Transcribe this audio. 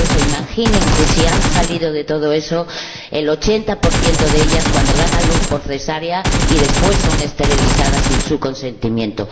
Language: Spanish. Imaginen que si han salido de todo eso, el 80 de ellas cuando dan a luz por cesárea son después esterilizadas sin su consentimiento.